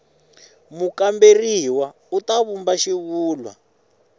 mukamberiwa u ta vumba xivulwa